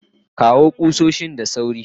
kawo kusoshin da sawrin